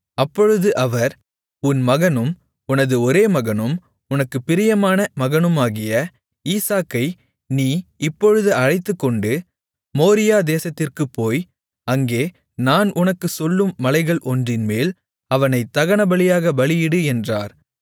அப்பொழுது அவர் உன் மகனும் உனது ஒரேமகனும் உனக்குப் பிரியமான மகனுமாகிய ஈசாக்கை நீ இப்பொழுது அழைத்துக்கொண்டு மோரியா தேசத்திற்குப் போய் அங்கே நான் உனக்குச் சொல்லும் மலைகள் ஒன்றின்மேல் அவனைத் தகனபலியாகப் பலியிடு என்றார்